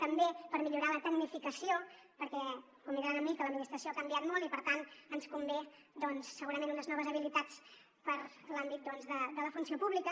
també per millorar la tecnificació perquè convindran amb mi que l’administració ha canviat molt i per tant ens convenen segurament unes noves habilitats per a l’àmbit de la funció pública